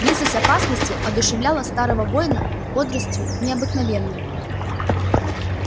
близость опасности одушевляла старого воина бодростью необыкновенной